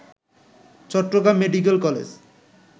Chittagong medical college